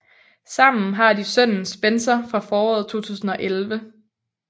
Sammen har de sønnen Spencer fra foråret 2011